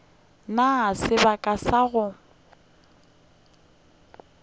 na le sebaka sa go